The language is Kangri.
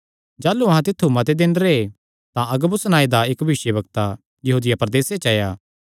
जाह़लू अहां तित्थु मते दिन रैह् तां अगबुस नांऐ दा इक्क भविष्यवक्ता यहूदिया प्रदेसे च आया